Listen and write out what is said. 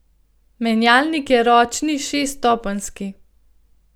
Menjalnik je ročni šeststopenjski.